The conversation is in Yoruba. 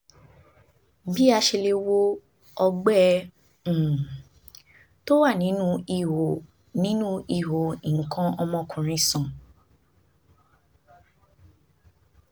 bí a ṣe lè wo ọgbẹ́ um tó wà nínú ihò nínú ihò nǹkan ọmọkùnrin sàn?